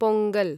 Pongal